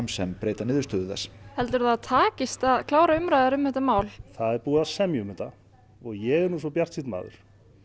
sem breyta niðurstöðu þess heldurðu að það takist að klára umræður um þetta mál í það er búið að semja um þetta og ég er nú svo bjartsýnn maður